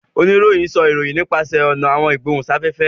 Oníròhìn sọ ìròyìn nipasẹ àwọn ọnà igbohunsafẹfẹ